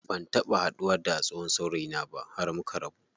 Ban taɓa haduwa da tsohon saurayina ba har muka rabu.